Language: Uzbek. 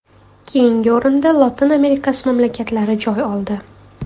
Keyingi o‘rinda Lotin Amerikasi mamlakatlari joy oldi.